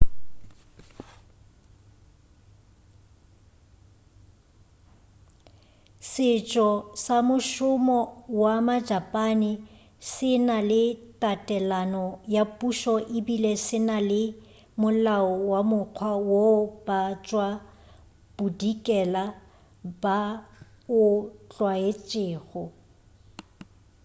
setšo sa mošomo wa majapane se na le tatelano ya pušo ebile se na le molao ka mokgwa woo ba tšwa bodikela ba o tlwaetšego